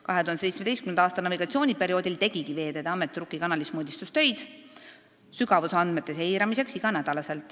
2017. aasta navigatsiooniperioodil tegigi Veeteede Amet Rukki kanalis mõõdistustöid sügavusandemete seiramiseks igal nädalal.